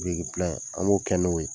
an b'o kɛ n'o ye